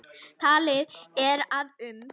Talið er að um